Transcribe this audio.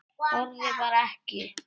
Þorði bara ekki.